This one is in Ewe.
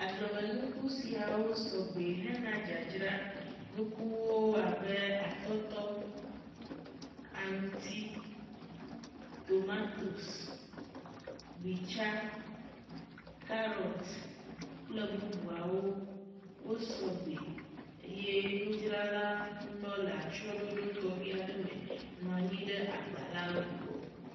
Agblemenuku siawo sɔgbɛ hena dzadzra. Nukuwo abe atɔtɔ, aŋuti, tomatosi, gbitsa, karɔti kple bubuawo. Wosɔgbɛ eye nudzrala ŋutɔ le atsyɔɖoɖo tɔxɛ aɖe me nɔ anyi ɖe agba la ŋgɔ.